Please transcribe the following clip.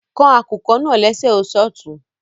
Kàn akùkọ̀ naa lẹ̀ṣẹ̀ o ṣọtún